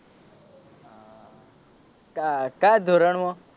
કા કયા ધોરણ માં?